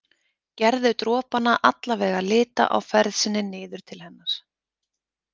Gerðu dropana allavega lita á ferð sinni niður til hennar.